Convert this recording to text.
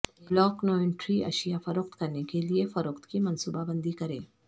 بلک inventory اشیاء فروخت کرنے کے لئے فروخت کی منصوبہ بندی کریں